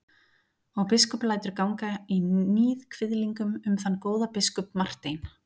Og biskup lætur ganga í níðkviðlingum um þann góða biskup Martein.